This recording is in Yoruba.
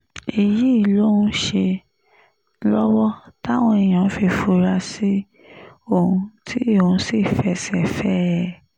èyí lòun ń ṣe lọ́wọ́ táwọn èèyàn fi fura sí òun tí òun sì fẹsẹ̀ fẹ́ ẹ